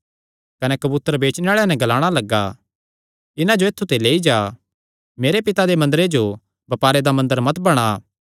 कने कबूतर बेचणे आल़ेआं नैं ग्लाणा लग्गा इन्हां जो ऐत्थु ते लेईआ मेरे पिता दे मंदरे जो बपारे दा मंदर मत बणा